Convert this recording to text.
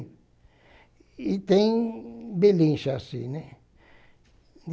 E tem belincha assim, né?